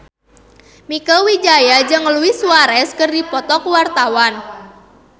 Mieke Wijaya jeung Luis Suarez keur dipoto ku wartawan